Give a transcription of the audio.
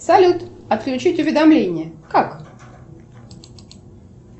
салют отключить уведомления как